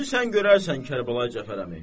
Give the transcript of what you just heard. İndi sən görərsən, Kərbəlayi Cəfər əmi.